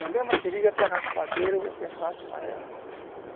Na mesma seringa tem raspadeira, você raspa ela.